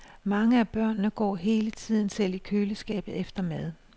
Mange af børnene går hele tiden selv i køleskabet efter mad.